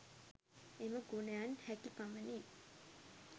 එම ගුණයන් හැකි පමණින්